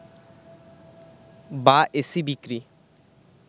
বা এসি বিক্রি